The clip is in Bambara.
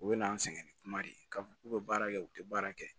U bɛ n'an sɛgɛn ni kuma de ye k'a fɔ k'u bɛ baara kɛ u tɛ baara kɛ